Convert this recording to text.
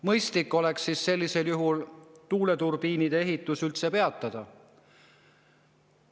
Mõistlik oleks sellisel juhul tuuleturbiinide ehitus peatada.